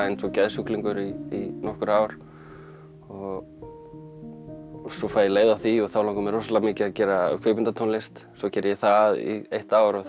eins og geðsjúklingur í nokkur ár og svo fæ ég leið á því og þá langar mig rosalega mikið að gera kvikmyndatónlist svo geri ég það í eitt ár og